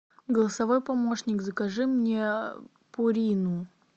голосовой помощник закажи мне пурину